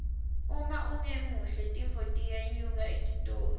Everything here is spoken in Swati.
uma ungemuhle tinfo tiyenyuka etitolo